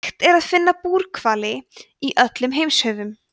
hægt er að finna búrhvali í öllum heimshöfum